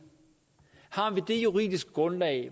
har vi det juridiske grundlag